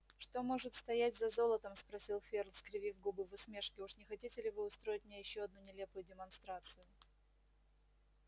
что может стоять за золотом спросил ферл скривив губы в усмешке уж не хотите ли вы устроить мне ещё одну нелепую демонстрацию